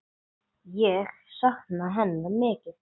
Ég sakna hennar mikið.